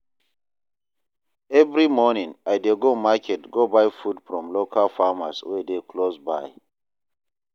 Every morning, I dey go market go buy food from local farmers wey dey close by.